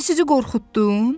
Mən sizi qorxutdum?